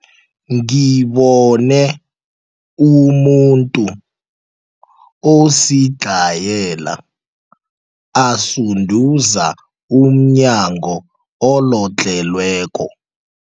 Ngibone umuntu osidlhayela asunduza umnyango olodlhelweko.